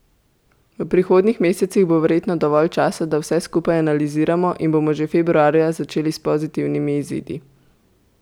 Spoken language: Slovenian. V prihodnjih mesecih bo verjetno dovolj časa, da vse skupaj analiziramo in da bomo že februarja začeli s pozitivnimi izidi.